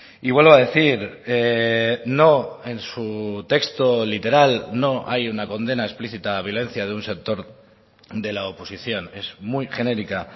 y vuelvo a decir no en su texto literal no hay una condena explícita a la violencia de un sector de la oposición es muy genérica